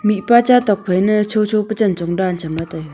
mihpa cha tokphai ne chocho pe chenchong dan cham la taiga.